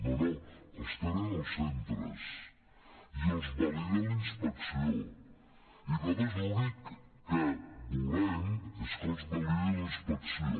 no no els tenen els centres i els valida la inspecció i nosaltres l’únic que volem és que els validi la inspecció